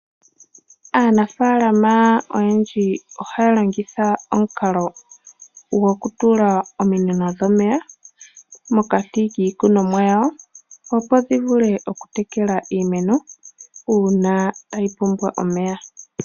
Aanafaalama oyendji ohaya longitha omukalo gokutula ominino dhomeya mokati kiikunomwa yawo opo dhovulu okutekela iimeno uuna tayi pumbwa omeya.